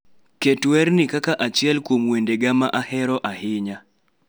Ket werni kaka achiel kuom wendega ma ahero ahinya